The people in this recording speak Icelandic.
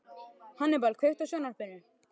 Hannibal, kveiktu á sjónvarpinu.